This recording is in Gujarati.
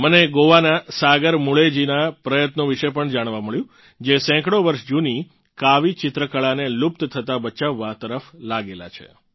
મને ગોવાનાં સાગર મુલેજીનાં પ્રયત્નો વિશે પણ જાણવાં મળ્યું જે સેંકડોં વર્ષ જુની કાવી ચિત્રકળાને લુપ્ત થતાં બચાવવા તરફ લાગેલા છે